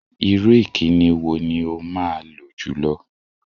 Irú ìkíni wo ni o máa lò jùlọ?